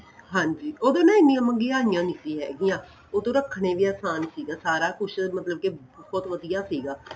ਹਾਂਜੀ ਉਦੋਂ ਨਾ ਐਨੀਆਂ ਮਹਿੰਗੀਆਂ ਨਹੀਂ ਸੀ ਹੈਗੀਆਂ ਉਹਦੋ ਰੱਖਣੇ ਵੀ ਆਸਾਨ ਸੀ ਸਾਰਾ ਕੁੱਝ ਮਤਲਬ ਕਿ ਬਹੁਤ ਵਧੀਆ ਸੀਗਾ